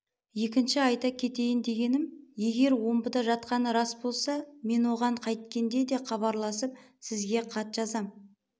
екінші айта кетейін дегенім егер омбыда жатқаны рас болса мен оған қайткенде де хабарласып сізге хат жазам